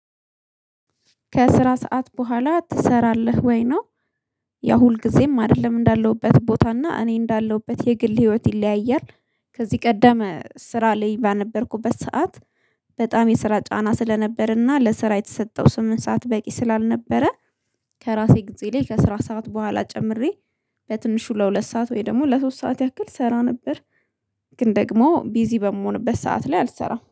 ከስራ ሰዓት በኋላ ትሰራለህ ወይ ነው? ያ ሁልጊዜም አይደለም እንዳለሁበት ቦታ እና እኔ እንዳለሁበት የግል ህይወት ይለያያል። ከዚህ ቀደም ስራ ላይ በነበርኩበት ሰዓት። በጣም የስራ ጫና ስለነበርና ለስራ የተሰጠው ስምንት ሰዓት በቂ ስላልነበረ። ከራሴ ጊዜ ላይ ከስራ ሰዓት በኋላ ጨምሬ በትንሹ ለሁለት ሰዓት ወይ ደግሞ ለሶስት ሰዓት ያክል እሰራ ነበር። ግን ደግሞ ቢዚ በምሆንበት ሰዓት ላይ አልሰራም